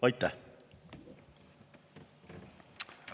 Aitäh!